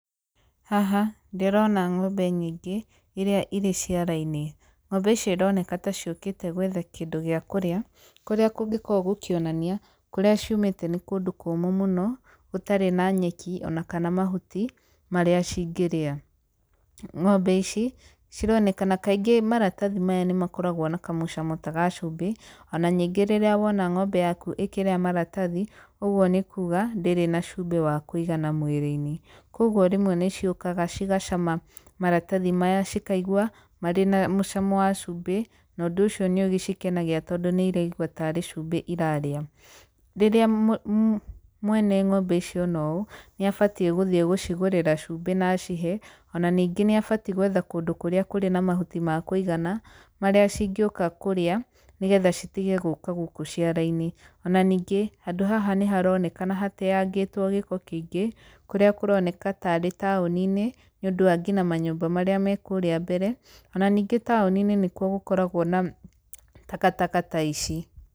Haha, ndĩrona ng'ombe nyingĩ iria irĩ ciara-inĩ. Ng'ombe ici ironeka ta ciũkĩte gwetha kĩndũ gĩa kũrĩa, kũrĩa kũngĩkorwo gũkĩonania kũrĩa ciumĩte nĩ kũndũ kũmũ mũno, gũtarĩ na nyeki ona kana mahuti marĩa cingĩrĩa. Ng'ombe ici, cironekana, kaingĩ maratathi maya nĩmakoragwo na kamũcamo ta ga cubĩ, ona ningĩ rĩrĩa wona ng'ombe yaku ĩkĩrĩa maratathi, ũguo nĩ kuga ndĩrĩ na cubĩ wa kũigana mwĩrĩ-inĩ. Koguo rĩmwe nĩciũkaga cigacama maratathi maya cikaigũa marĩ na mũcamo wa cubĩ, nondũ ũcio nĩũgĩcikenagia tondũ na iraigua tarĩ cubĩ irarĩa. Rĩrĩa mwene ng'ombe icio ona ũũ, nĩ abatiĩ gũthiĩ gũcigũrĩra cubĩ na acihe, ona ningĩ nĩ abatiĩ gwetha kũndũ kũrĩa kũrĩ na mahuti ma kũigana, marĩa cingĩũka kũrĩa nĩgetha citige gũka gũkũ ciara-inĩ. Ona ningĩ handũ haha nĩ haronekana hateangĩtwo gĩko kĩingĩ, kũrĩa kũroneka tarĩ taũni-inĩ nĩ ũndũ wa ngina manyũmba marĩa me kũũrĩa mbere, ona ningĩ taũni-inĩ nĩkwo gũkoragwo na takataka ta ici.